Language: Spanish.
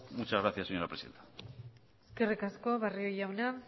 muchas gracias señora presidenta eskerrik asko barrio jauna